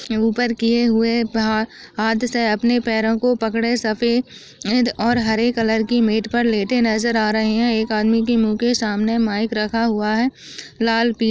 ऊपर किये हुए है हा हाथ से अपने पैरो को पकडे है सफ़ेद और हरे कलर की मेट पर लेटे नजर आ रहे हैं। एक आदमी के मुहँ के सामने माइक रखा हुआ है लाल पी --